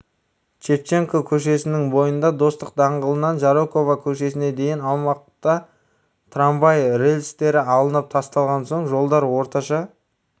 шевченко көшесінің бойында достық даңғылынан жароков көшесіне дейінгі аумақта трамвай рельстері алынып тасталған соң жолдар орташа